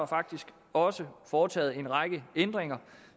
faktisk også foretaget en række ændringer